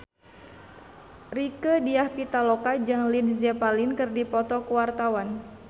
Rieke Diah Pitaloka jeung Led Zeppelin keur dipoto ku wartawan